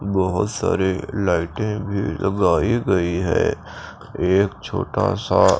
बहोत सारे लाइटे भी लगाई गई है एक छोटा सा।